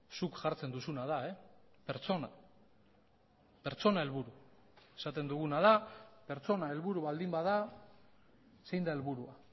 zuk jartzen duzuna da pertsona pertsona helburu esaten duguna da pertsona helburu baldin bada zein da helburua